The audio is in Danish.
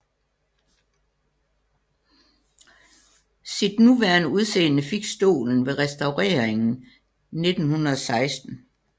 Sit nuværende udseende fik stolen ved restaureringen 1916